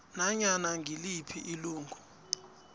nanyana ngiliphi ilungu